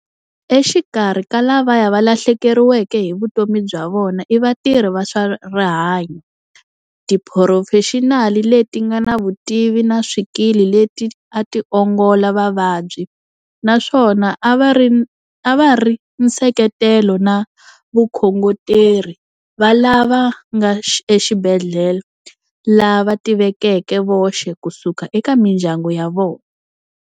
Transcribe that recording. Exikarhi ka lavaya va lahlekeriweke hi vutomi bya vona i vatirhi va swa rihanyo, tiphurofexinali leti nga na vutivi na swikili leti a ti ongola vavabyi, naswona a va ri nseketelo na vakhongoteri va lava nga exibedhlele lava tivekeke voxe kusuka eka mindyangu ya vona.